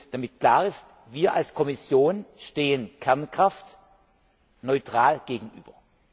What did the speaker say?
Damit klar ist Wir als Kommission stehen Kernkraft neutral gegenüber.